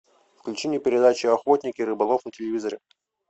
включи мне передачу охотник и рыболов на телевизоре